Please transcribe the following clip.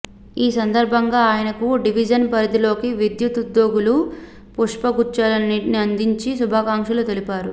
ఈ సందర్భంగా ఆయనకు డివిజన్ పరిధిలోని విద్యుత్ ఉద్యోగులు పుష్పగుచ్చాన్నిఅందించి శుభాకాంక్షలు తెలిపారు